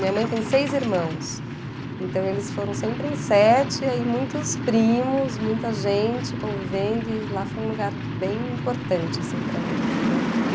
Minha mãe tem seis irmãos, então eles foram sempre em sete, e aí muitos primos, muita gente convivendo, e lá foi um lugar bem importante assim, para mim a vida toda.